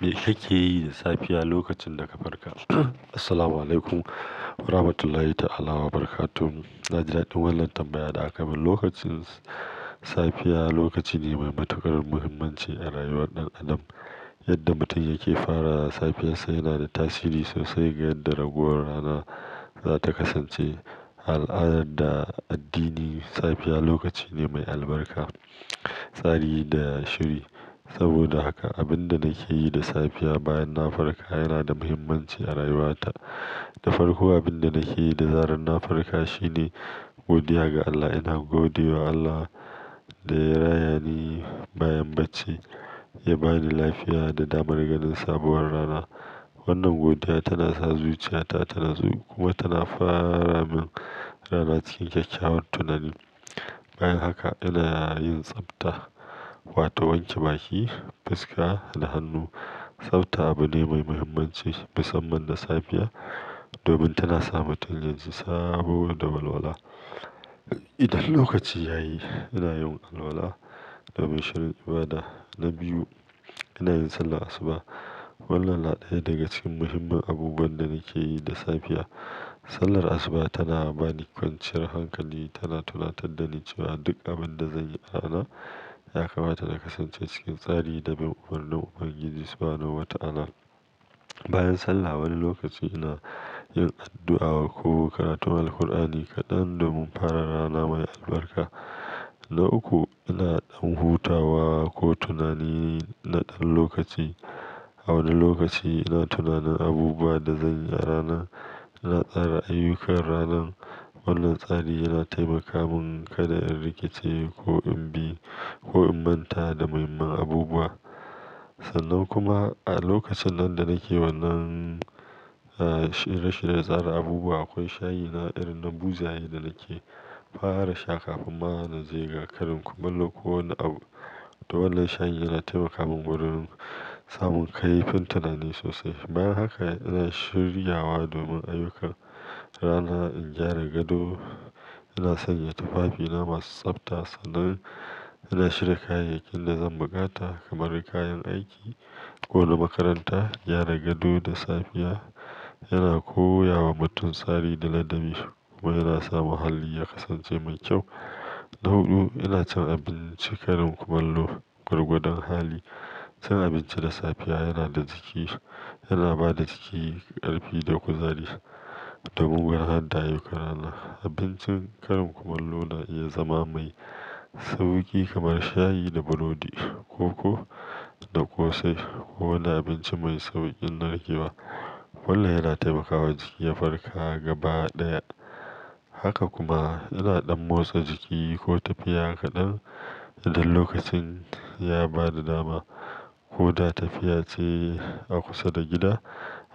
Me kake yi da safiya lokacin da ka farka? Assalamualaikum warahmatullahi ta'ala wabarakatuh. Na daɗ in wannan tambaya da aka min. Lokacin s-safiya lokaci ne mai matuƙar muhimmanci a rayuwar ɗan adam. Yadda mutum yake fara safiya sai yana da tasiri sosai ga yadda raguwar rana za ta kasance. A al'adar da addini, safiya lokaci ne mai albarka, tsari da shiri. Saboda haka, abin da nake yi da safiya bayan na farka yana da muhimmanci a rayuwata. Da farko, abin da nake yi da zaran na farka shine godiya ga Allah. Ina gode wa Allah da ya rayani bayan bacci, ya ba ni lafiya da damar ganin sabuwar rana. Wannan godiya tana sa zuciyata tanatsu kuma tana fara min rana cikin kyakkyawan tunani. Bayan haka, ina yin tsafta, wato wanke baki, fuska da hannu. Tsafta abu ne mai muhimmanci, musamman da safiya, domin tana sa mutum yaji sabo da walwala. Idan lokaci ya yi, ina yin alwala domin shirin ibada. Na biyu, ina yin sallar asuba. Wannan naɗaya daga cikin muhimman abubuwan da nake yi da safiya. Sallar asuba tana ba ni kwanciyar hankali, tana tunatar da ni cewa duk abin da zanyi a rana ya kamata na kasance cikin tsari da bin umarnin Ubangiji, Subhanahu wa Ta'ala. Bayan sallah, wani lokaci ina yin addu'a ko karatu Alqur'ani kaɗan domin fara rana mai albarka. Na uku, ina ɗan hutawa ko tunani na ɗan lokaci. A wani lokaci ina tunanin abubuwa da zanyi a rana, ina tsara ayyukan ranan. Wannan tsari yana taimaka mun kada in rikice ko in bi-- ko in manta da muhimman abubuwa. Sannan kuma a lokacin nan da nake wannan, ah, shirye-shirye tsara abubuwa, akwai shayi na irin na buzaye da nake fara sha kafin ma na je ga karin kumallo. Ko wani abu. To wannan shayi yana taimaka mun gurin mun, samun kaifin tunani sosai. Bayan haka, ina shiryawa domin ayyukan rana. In gyara gado, ina sanya tufafina masu tsafta. Sannan ina shiga kayayyakin da zan buƙata kamar kayan aiki ko na makaranta. Gyara gado da safiya yana koya wa mutum tsari da ladabi kuma yana sa muhalli ya kasance mai kyau. Na huɗu, ina cin abinci karin kumallo gwargwadon hali. Cin abinci da safiya yana da jiki-- yana ba da jiki ƙarfi da kuzari don gudanar da ayyukan rana. Abincin karin kumallo na iya zama mai sauki kamar shayi da burodi, koko da ƙosai ko wani abinci mai sauƙin narkewa. Wannan yana taimakawa jiki ya farka gaba ɗaya. Haka kuma ina ɗan motsa jiki ko tafiya kaɗan idan lokacin ya ba da dama. Ko ta tafiya ce a kusa da gida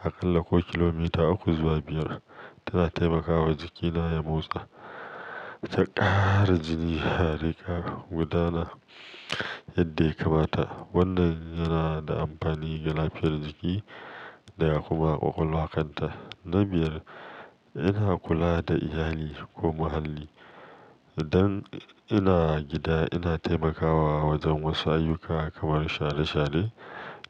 aƙalla ko kilomita uku zuwa biyar, tana taimakawa jikina ya motsa, ta ƙara jini a riƙaguna gudana yadda ya kamata. Wannan yana da amfani ga lafiyar jiki da kuma ƙwaƙwalwakanta. Na biyar, ina kula da iyali ko muhalli. Idan ina a gida, ina taimakawa wajen wasu ayyuka kamar share-share,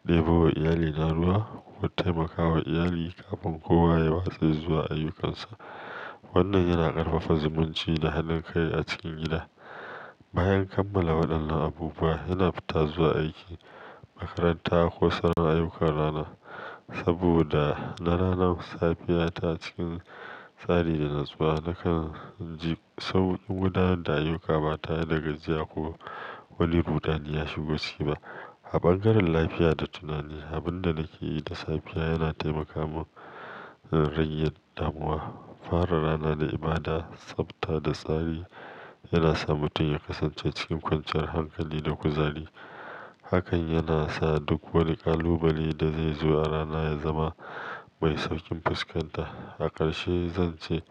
ɗebo wa iyali na ruwa ko taimakawa iyali kafin kowa ya watse zuwa ayyukansa. Wannan yana ƙarfafa zumunci da hannun kai a cikin gida. Bayan kammala waɗannan abubuwa, ina fita zuwa aiki, makaranta ko sauran ayyukan rana. Saboda na rana safiya ta cikin tsari da natsuwa, nakan ji sauƙin gudanar da ayyuka ba tare dagajiya ko wani rudani ya shigo ciki ba. A bangaren lafiya da tunani, abin da nake yi da safiya yana taimaka mun na rage damuwa. Fara rana da ibada, tsafta da tsari yana sa mutum ya kasance cikin kwanciyar hankali da kuzari. Hakan yana sa duk wani kalubale da zai zo a rana ya zama mai sauƙin fuskanta. A ƙarshe zan ce,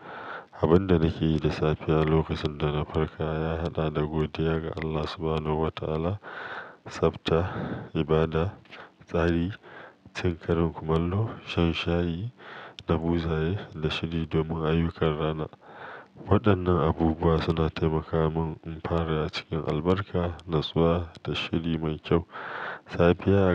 abin da nake yi da safiya lokacin da na farka ya haɗa da godiya ga Allah Subhanahu wa Ta'ala, tsafta, ibada, tsari, cin karin kumallo, shan shayi na buzaye da shiri domin ayyukan rana. Waɗannan abubuwa suna taimaka mun in fara ya cikin albarka, natsuwa da shiri mai kyau. Safiya a ga-